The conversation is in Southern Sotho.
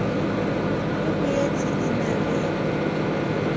e boetse e na le